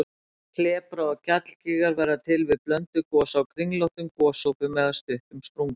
Klepra- og gjallgígar verða til við blönduð gos á kringlóttum gosopum eða stuttum sprungum.